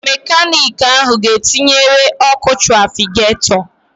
Mekanịkị ahụ ga etinyere ọkụ trafigatọ